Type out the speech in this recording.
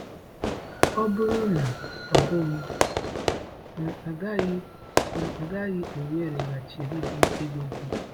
“Ọ bụrụ na ọ bụghị, m agaghị m agaghị ewereghachiri gị ego gị.”